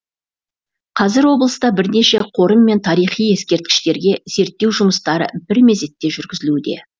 қазір облыста бірнеше қорым мен тарихи ескерткіштерге зерттеу жұмыстары бір мезетте жүргізілуде